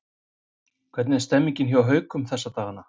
Hvernig er stemmningin hjá Haukum þessa dagana?